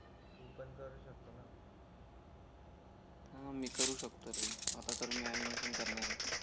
हां मी करू शकतो रे आता तर मी ऍनिमेशन करणार आहे